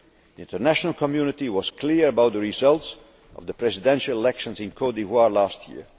The international community was clear about the results of the presidential elections in Côte d'Ivoire last